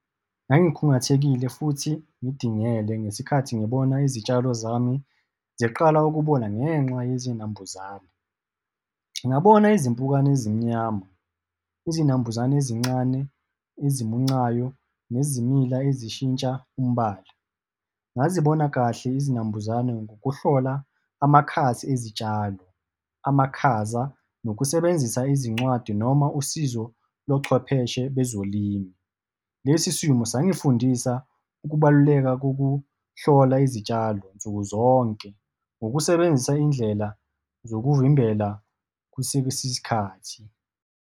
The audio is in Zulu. Ngangikhungathekile futhi ngidingele, ngesikhathi ngibona izitshalo zami ziqala ukubona ngenxa yezinambuzane. Ngabona izimpukane ezimnyama, izinambuzane ezincane, esimuncayo nezimila ezishintsha umbala. Ngazibona kahle izinambuzane ngokuhlola amakhasi ezitshalo, amakhaza nokusebenzisa izincwadi noma usizo lochwepheshe bezolimo. Lesi simo sangifundisa ukubaluleka kokuhlola izitshalo nsuku zonke, ngokusebenzisa izindlela zokuvimbela kusesisikhathi.